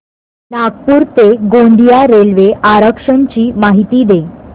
नागपूर ते गोंदिया रेल्वे आरक्षण ची माहिती दे